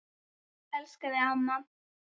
Elska þig, amma.